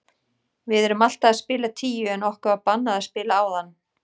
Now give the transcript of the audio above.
Við erum alltaf að spila tíu en okkur var bannað að spila áðan.